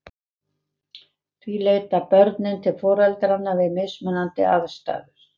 Því leita börnin til foreldranna við mismunandi aðstæður.